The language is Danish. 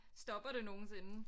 Stopper det nogensinde